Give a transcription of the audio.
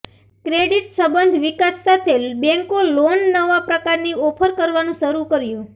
credit સંબંધ વિકાસ સાથે બેન્કો લોન નવા પ્રકારની ઓફર કરવાનું શરૂ કર્યું